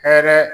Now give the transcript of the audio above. Hɛrɛ